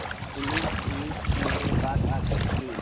police jeep मेरे पास आकर रुकी